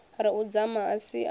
ri u dzama a sia